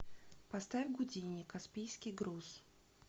поставь гудини каспийский груз